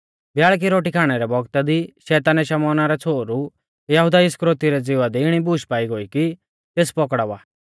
ब्याल़की रोटी खाणै रै बौगता दी शैतानै शमौना रै छ़ोहरु यहुदा इस्करियोती रै ज़िवा दी इणी बूश पाई गोई कि तेस पकड़ावा